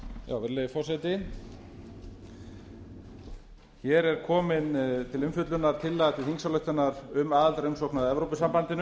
virðulegi forseti hér er komin á umfjöllunar tillaga til þingsályktunar um aðildarumsókn að